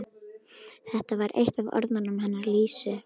Þetta var eitt af orðunum hennar Lísu.